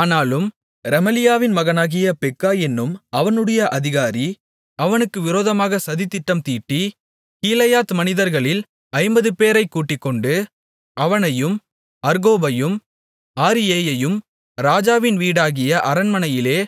ஆனாலும் ரெமலியாவின் மகனாகிய பெக்கா என்னும் அவனுடைய அதிகாரி அவனுக்கு விரோதமாக சதித்திட்டம் தீட்டி கீலேயாத் மனிதர்களில் ஐம்பதுபேரைக் கூட்டிக்கொண்டு அவனையும் அர்கோபையும் ஆரியேயையும் ராஜாவின் வீடாகிய அரண்மனையிலே